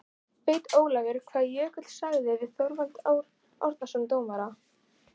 Veit Ólafur hvað Jökull sagði við Þorvald Árnason dómara?